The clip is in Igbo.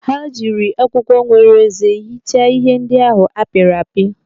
Ha jiri akwụkwọ nwere eze hichaa ihe ndị ahụ a pịrị apị.